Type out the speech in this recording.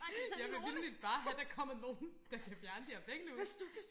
Jeg vil vitterligt bare gerne have der kommer nogen der kan fjerne de her væggelus